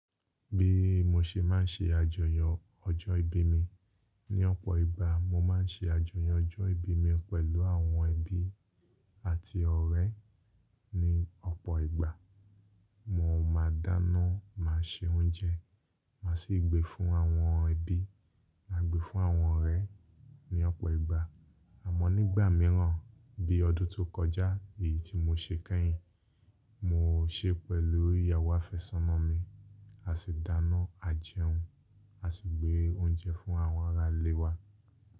Bí mo ṣe má n ṣe àjọyọ̀ ọjọ́ ìbí mi, ní ọ̀pọ̀ ìgbà mo má n ṣe àjọyọ̀ ọjọ́ ìbí mi pẹ̀lú àwọn ẹbí àti ọ̀rẹ́ ní ọ̀pọ̀ ìgbà. Mo máa dáná, màá se oúnjẹ, màá sì gbé fún àwọn ẹbí, màá gbé fún àwọn ọ̀rẹ́ ní ọ̀pọ̀ ìgbà. Àmọ́ nígbà míràn bí ọdún tó kọjá èyí tí mo ṣe kẹ́yin, mo ṣe pẹ̀lú ìyàwó àfẹ́sọ́nà mi. A sì dáná, a jẹun, a sì gbé oúnjẹ fún àwọn ará ilé wa.